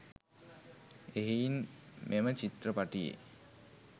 එහෙයින් මෙම චිත්‍රපටියේ